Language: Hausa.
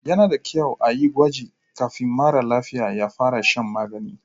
Yana da kyau a yi gwaji kafin mara lafiya ya fara shan magani.